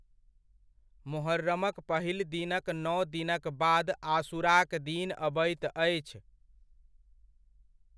मोहर्रमक पहिल दिनक नौ दिनक बाद आशुराक दिन अबैत अछि।